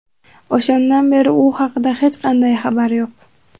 O‘shandan beri u haqida hech qanday xabar yo‘q.